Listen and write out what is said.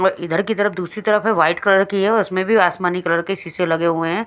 और इधर की तरफ दूसरी तरफ है वाइट कलर की है और इसमें भी आसमानी कलर के शीशे लगे हुए हैं।